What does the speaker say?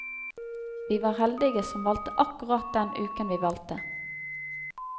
Vi var heldige som valgte akkurat den uken vi valgte.